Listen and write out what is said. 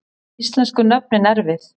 Íslensku nöfnin erfið